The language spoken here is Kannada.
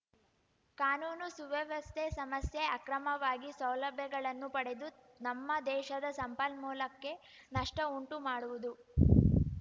ಕಾನೂನು ಸುವ್ಯವಸ್ಥೆ ಸಮಸ್ಯೆ ಅಕ್ರಮವಾಗಿ ಸೌಲಭ್ಯಗಳನ್ನು ಪಡೆದು ನಮ್ಮ ದೇಶದ ಸಂಪನ್ಮೂಲಕ್ಕೆ ನಷ್ಟಉಂಟುಮಾಡುವುದು